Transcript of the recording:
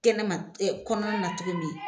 Kɛnɛma kɔnɔnana cogo min